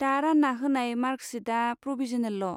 दा रान्ना होनाय मार्कसिटआ प्रभिज'नेलल'।